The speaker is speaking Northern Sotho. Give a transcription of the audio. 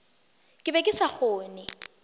ke be ke sa kgone